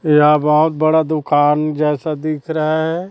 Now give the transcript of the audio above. यह बहोत बड़ा दुकान जैसा दिख रहा है।